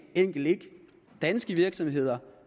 enkelt ikke danske virksomheder